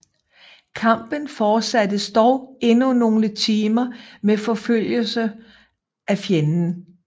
Kampen fortsattes dog endnu nogle timer med forfølgelse af fjenden